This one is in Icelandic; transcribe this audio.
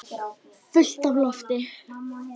Fullt af lofti.